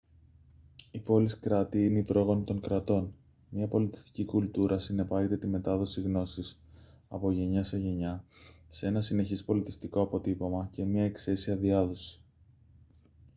οι πόλεις κράτη είναι οι πρόγονοι των κρατών μια πολιτιστική κουλτούρα συνεπάγεται τη μετάδοση γνώσης από γενιά σε γενιά σε ένα συνεχές πολιτιστικό αποτύπωμα και μια εξαίσια διάδοση